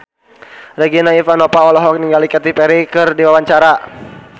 Regina Ivanova olohok ningali Katy Perry keur diwawancara